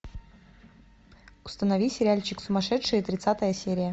установи сериальчик сумасшедшие тридцатая серия